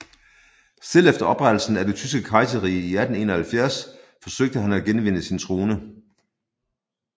Selv efter oprettelsen af Det Tyske Kejserrige i 1871 forsøgte han at genvinde sin trone